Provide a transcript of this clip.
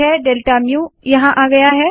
delta mu यहाँ आ गया है